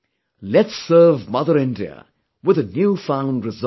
Let's serve Mother India with a new found resolve